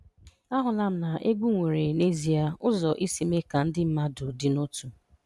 Ahụla m na egwu nwere n'ezie ụzọ isi mee ka ndị mmadụ dị n'otu.